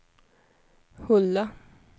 Hulda